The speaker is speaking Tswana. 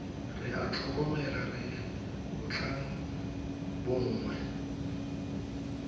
re a tlhokomela re bontlhabongwe